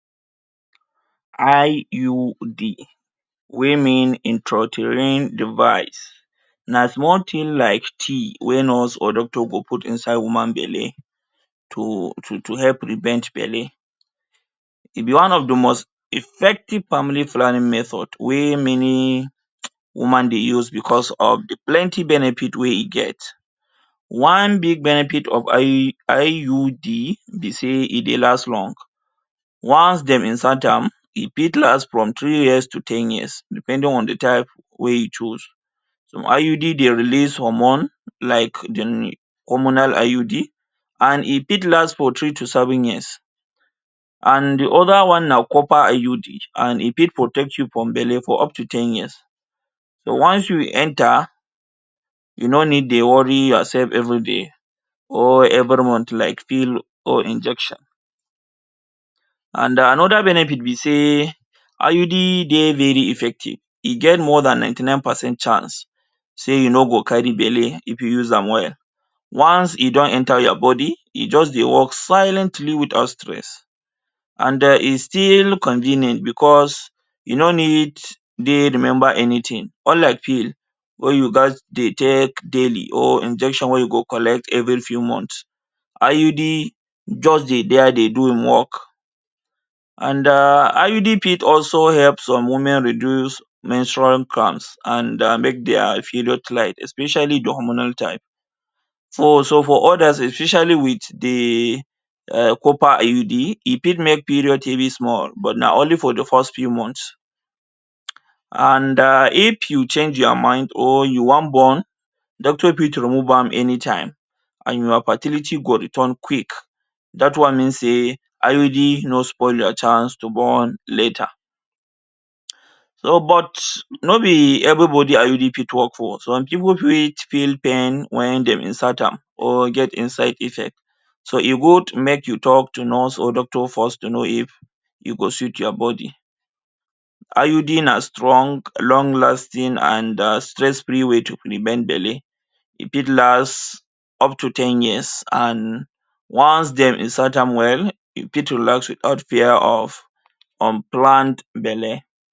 IUD wey mean intrauterine device na small thing like tea wey nurse or doctor go out inside woman belle to to help prevent belle it’s one of de most effective family planning method wey many woman dey use because of de plenty benefit wey e get one big benefit of IUD be say e dey last long once dem insert am e fit last for three years to ten years depending on de type wey you choose some IUD dey release hormone like dem hormonal IUD and e fit last for three to seven years and de oda one na copper IUD and e fit protect you from belle for up to ten year so once you enter you no need dey worry yourself everyday or every month like pill or injection and another benefit because say IUD dey very effective e get more than ninety nine percent chance say you no go carry belle if you use am well one e don enter your body e just dey work silently without stress and den e still convenient because e no need dey remember anytin unlike pill or you gast dey take daily or injection wey you go collect every few months IUD just dey their dey do im work and um IUD fit help some women also reduce menstrual cramps and um make their period light especially de hormonal type so also for others especially with de um copper IUD e fit make period heavy small na only for de first few month and um if you change your mind or you wan born doctor fit remove am anytime and your fertility go return quick that one mean say IUD no spoil your chance to born later so but no be everybody IUD fit work for some people fit pain when dem insert am or get inside effect so e good make you talk to nurse or doctor first to know if e go suit your body IUD na strong long lasting and um stress free way to prevent belle e fit last up to ten years and once dey insert am well e fit last without fear of unplanned belle.